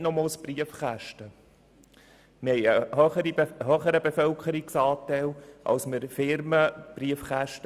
Wir haben im Gegensatz zum Kanton Zug eine grössere Bevölkerungszahl als die Anzahl an Firmenbriefkästen.